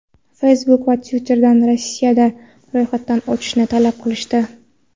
Facebook va Twitter’dan Rossiyada ro‘yxatdan o‘tishni talab qilishdi.